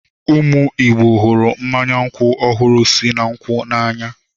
Ụmụ Igbo hụrụ mmanya nkwụ ọhụrụ si na nkwụ n'anya.